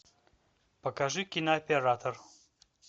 покажи кинооператор